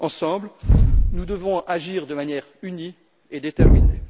Ensemble, nous devons agir de manière unie et déterminée.